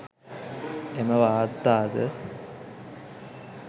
එම වාර්තාද